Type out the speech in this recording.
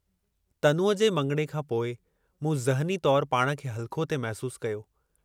तनूअ जे मङिणे खां पोइ मूं ज़हनी तौर पाण खे हल्को थे महसूस कयो।